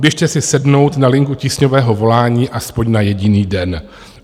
Běžte si sednout na linku tísňového volání aspoň na jediný den.